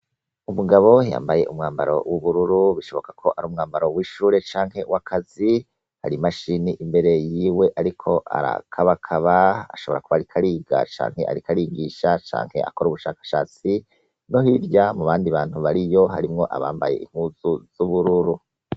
Umugabo yambaye umwambaro w'ubururu bishoboka ko ari umwambaro w'ishure canke w'akazi hari imashini imbere yiwe ariko arakabakaba ashobora kuba ariko ariga, canke ariko arigisha canke akora ubushakashatsi naryirya mu bandi bantu bariyo harimwo abambaye impuzu z'ubururu.